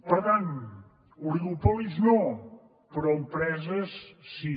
per tant oligopolis no però empreses sí